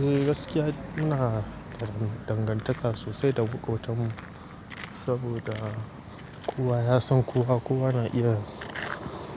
Eh gaskiya ina karamin dangantaka sosai da makotan mu saboda kowa ya san kowa, kowa na iya